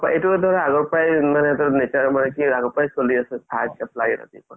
এইটো ধৰা আগৰ পৰাই মানে এইটো nature মানে আগৰ পাই চলি আছে চাহ একাপ লাগে ৰাতিপুৱা